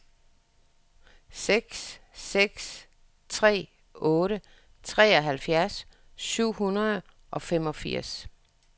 seks seks tre otte treoghalvfjerds syv hundrede og femogfirs